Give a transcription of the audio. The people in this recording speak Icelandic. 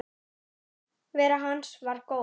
Nærvera hans var góð.